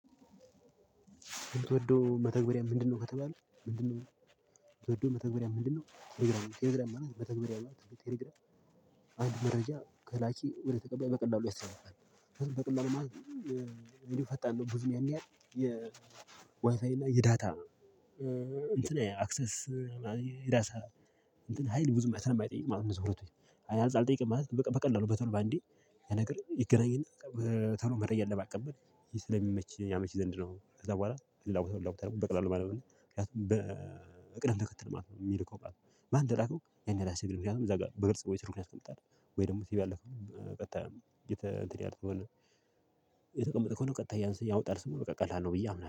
የምትወደው መተግበርያ ምንድነው ከተባለ ምንድነው? ምትወደው መተግበርያ ምንድነው ቴሌግራም ቴሌግራም ማለት መተግበርያ ማለት ነው ቴሌግራም። አንድ መረጃ ከላኪ ወደ ተቀባይ በቀላሉ ያስተላልፋል። በቀላሉ ማለት እኔ ፈጣን ነው። ብዙ ያን ያህል የ ዋይፋይ እና የዳታ እንትን አክሰስ። የራሳ እንትን ሀይል ብዙም ማለት ነው የማይጠይቅ ማለት ነው። አይ አልጠየቀም ማለት በቃ በቀላሉ በቶሎ በአንዴ ይነግረኝ ይገናኝና። ቶሎ መረጃን ለማቀበል ስለሚመች ያመች ዘንድ ነው። ከዛ በኋላ ልላወጣው ልላወጣው በቀላሉ ማለት ነው። ምክንያቱም በቅደም ተከተል ማለት ነው። የሚልከው ቃሉን ማን ደራከው ያን ላስገባው እዛ ጋር በግል ሰው ወይ ስር እንኳን አስቀምጣለሁ። ወይ ደግሞ ቲቪ ያለከው ቀጥታ እየተ እንትን ያህል። ትሆናለህ ከሆነ ቀጥታ እያንስተህ ያወጣል ስሙ በቃ ቀላ ነው ብዬ አምናለሁ